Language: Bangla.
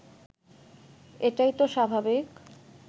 এটাই তো স্বাভাবিক